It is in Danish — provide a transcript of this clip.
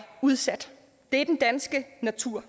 udsat er den danske natur